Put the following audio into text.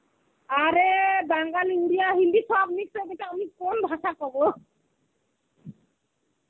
আরে, বাঙাল ইন্ডিয়া হিন্দি সব mix হয়ে থাকলে আমি কোন ভাষা কব?